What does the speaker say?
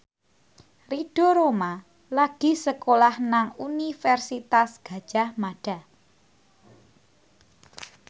Ridho Roma lagi sekolah nang Universitas Gadjah Mada